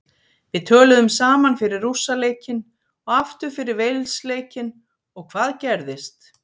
Við töluðum saman fyrir Rússa leikinn og aftur fyrir Wales leikinn og hvað gerðist?